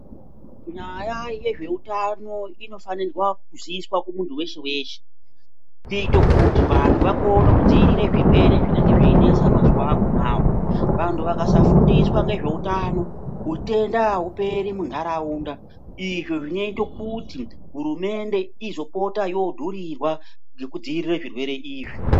Nyaya yezveutano inofanirwa kuziiswa kumuntu weshe weshe kuite kuti vanhu vakone kudziirire zvirwere zvinenge zveinesa mazuwa akhonawo vantu vakasafundiswa ngezveutano utwnda ahuperi muntaraunda izvi zvinoite kuti hurumende izopota yodhurirwa ngekudziirire zvirwere izvi.